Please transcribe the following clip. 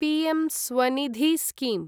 PM Svanidhi scheme